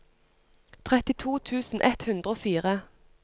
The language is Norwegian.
trettito tusen ett hundre og fire